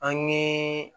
An ye